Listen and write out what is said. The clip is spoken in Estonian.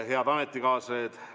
Head ametikaaslased!